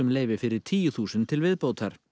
leyfi fyrir tíu þúsund til viðbótar